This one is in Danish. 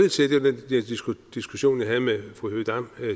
diskussion jeg havde med fru høegh dam